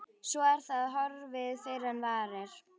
Svo er það horfið fyrr en varir.